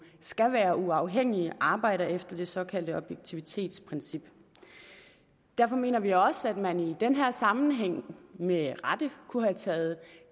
skal være uafhængig og arbejde efter det såkaldte objektivitetsprincip derfor mener vi også at man i den her sammenhæng med rette kunne have taget